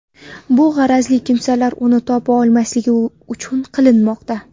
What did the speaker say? Bu g‘arazli kimsalar uni topa olmasligi uchun qilinmoqda.